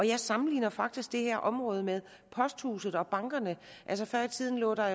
jeg sammenligner faktisk det her område med posthuse og banker før i tiden lå der